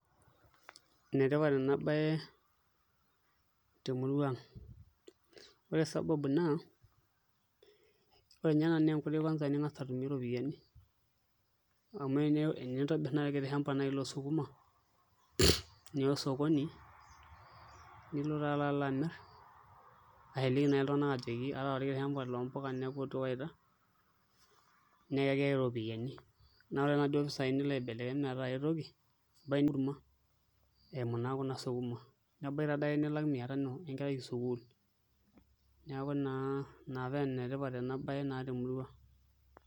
Enetipat ena baye temurua ang',amu ore sababu naa ore ninye ena naa enkoitoi ning'as atumie iropiyiani amu tenintobirr naai orkiti shamba loosukuma niya osokoni nilo taa alo amirr ashu iliki naai iltunganak ajoki aata orkiti shamba loosukuma neeku ootu ewaita naa keeta iropiyiani niya ake inaduo pisaai nilo aibelekeny metaa aai toki enkurma eimu naa Kuna sukuma, nebaiki taadake nilak mia tano enkerai esukuul neeku naa ina paa enetipat ena baye naa temurua.